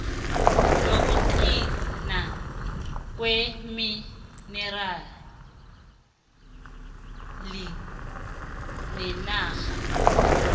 yokugcinwa kweminerali nenarha